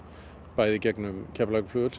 bæði í gegnum Keflavíkurflugvöll